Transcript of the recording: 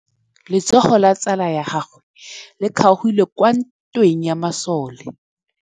Letsôgô la tsala ya gagwe le kgaogile kwa ntweng ya masole.